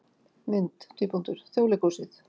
Mynd: Þjóðleikhúsið